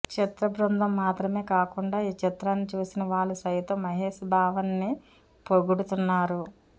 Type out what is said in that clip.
చిత్ర బృందం మాత్రమే కాకుండా ఈ చిత్రాన్ని చూసిన వాళ్ళు సైతం మహేష్ బావ ని పొగుడుతున్నారు